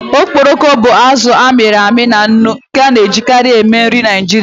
Okporoko bụ azụ a mịrị amị na nnu nke a na-ejikarị eme nri Naijiria.